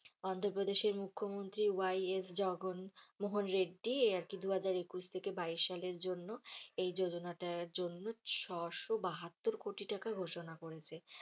অন্ধ্রপ্রদেশের মুখ্যমন্ত্রী Y S Jaganmohan Reddy আরকি দুহাজার একুশ থেকে বাইশ সালের জন্য এই যোজনাটার জন্য ছশো বাহাত্তর কোটি টাকা ঘোষণা করেছে।